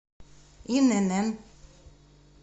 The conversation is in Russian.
инн